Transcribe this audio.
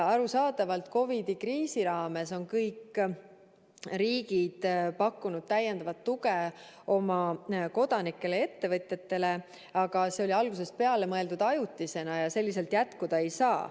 Arusaadavalt COVID-i kriisi raames on kõik riigid pakkunud täiendavat tuge oma kodanikele ja ettevõtjatele, aga see oli algusest peale mõeldud ajutise meetmena ja selliselt jätkuda ei saa.